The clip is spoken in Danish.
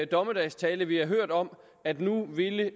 dommedagstale vi har hørt om at nu ville